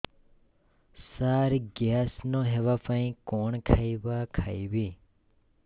ସାର gas ନ ହେବା ପାଇଁ କଣ ଖାଇବା ଖାଇବି